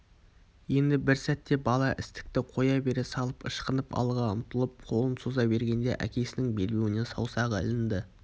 енді бір сәтте бала істікті қоя бере салып ышқынып алға ұмтылып қолын соза бергенде әкесінің белбеуіне саусағы ілінді